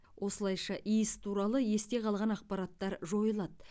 осылайша иіс туралы есте қалған ақпараттар жойылады